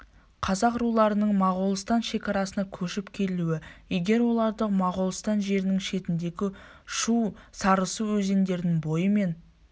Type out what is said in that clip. қазақ руларының моғолстан шекарасына көшіп келуі егер оларды моғолстан жерінің шетіндегі шу сарысу өзендерінің бойы мен